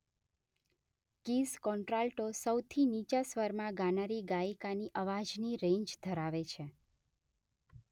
keys contralto સૌથી નીચા સ્વરમાં ગાનારી ગાયિકાની અવાજની રેન્જ ધરાવે છે